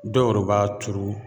Dɔw yɛrɛ b'a turu